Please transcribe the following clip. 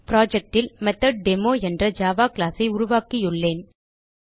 project ல் மெத்தொட்டேமோ என்ற ஜாவா கிளாஸ் ஐ உருவாக்கியுள்ளேன்